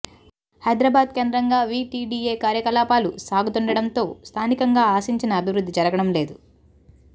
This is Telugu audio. హైదరాబాద్ కేంద్రంగా వీటీడీఏ కార్యకలాపాలు సాగుతుండడంతో స్థానికంగా ఆశించిన అభివృద్ధి జరగడం లేదు